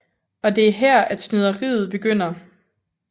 Og det er her at snyderiet begynder